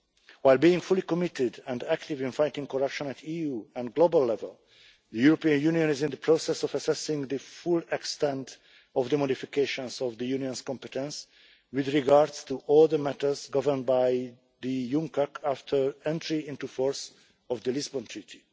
While being fully committed and active in fighting corruption at EU and global level, the European Union is in the process of assessing the full extent of the modifications of the Union's competence with regard to all the matters governed by UNCAC after entry into force of the Lisbon Treaty.